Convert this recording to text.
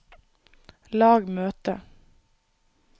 lag møte